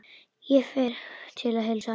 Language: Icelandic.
Ég fer til að heilsa.